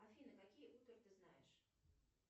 афина какие ты знаешь